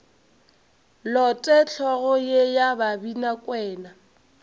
lote hlogo ye ya babinakwena